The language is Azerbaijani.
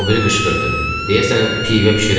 O biri qışqırdı, deyəsən, pivə bişirən idi.